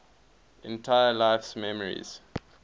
entire life's memories